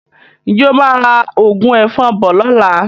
Ǹjẹ́ o máa ra òògùn ẹ̀fọn bọ̀ lọ́la?